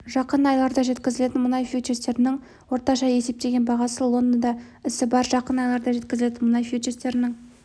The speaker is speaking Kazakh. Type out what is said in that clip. жақын айларда жеткізілетін мұнай фьючерстерінің орташа есептеген бағасы лондонда ісі барр жақын айларда жеткізілетін мұнай фьючерстерінің